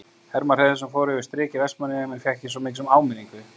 Hermann Hreiðarsson fór yfir strik í Vestmannaeyjum en fékk ekki svo mikið sem áminningu.